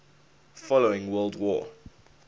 following world war